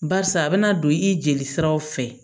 Barisa a bɛna don i jeli siraw fɛ